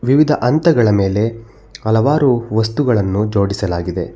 ವಿವಿಧ ಹಂತಗಳ ಮೇಲೆ ಹಲವಾರು ವಸ್ತುಗಳನ್ನು ಜೋಡಿಸಲಾಗಿದೆ.